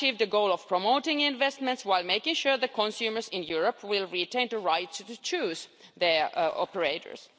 We have achieved the goal of promoting investments while making sure that consumers in Europe retain the right to choose their operators.